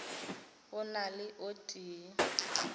go na le o tee